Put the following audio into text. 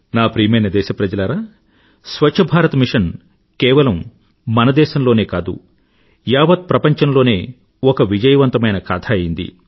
నా ప్రియమైన దేశప్రజలారా స్వఛ్ఛ భారత్ మిషన్ కేవలం మన దేశం లోనే కాదు యావత్ ప్రపంచంలోనే ఒక విజయవంతమైన కథ అయ్యింది